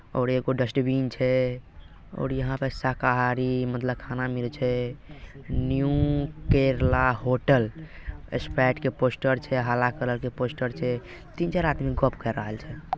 और एगो डस्टबिन छै और यहां पर शाकाहारी मतलब खाना मिले छै न्यू केरला होटल एक्सपर्ट के पोस्टर छै हाला कलर के पोस्टर छै तीन चार आदमी गोप कर रहल छै।